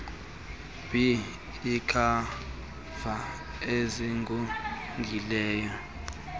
b iikhava ezigugileyo